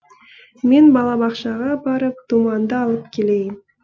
мен балабақшаға барып думанды алып келейін